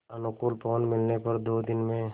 अनुकूल पवन मिलने पर दो दिन में